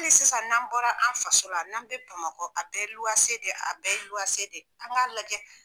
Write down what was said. Hali sisan n'an bɔra an faso la n'an be bamakɔ a bɛɛ ye de ye, a bɛɛ ye de ye an k'a lajɛ.